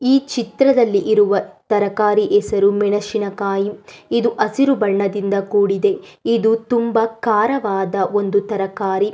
ಈ ಚಿತ್ರದಲ್ಲಿ ಇರುವ ತರಕಾರಿ ಹೆಸರು ಮೆಣಸಿನ ಕಾಯಿ ಇದು ಹಸಿರು ಬಣ್ಣದಿಂದ ಕೂಡಿದೆ ಇದು ತುಂಬಾ ಕಾರವಾದ ಒಂದು ತರಕಾರಿ.